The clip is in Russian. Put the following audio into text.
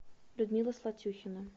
людмила слатюхина